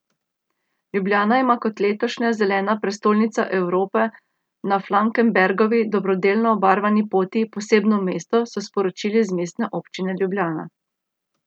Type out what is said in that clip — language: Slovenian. Ljubljana ima kot letošnja Zelena prestolnica Evrope na Falkenbergovi, dobrodelno obarvani poti, posebno mesto, so sporočili z Mestne občine Ljubljana.